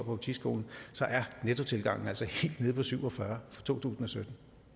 politiskolen så er nettotilgangen altså helt nede på syv og fyrre for totusinde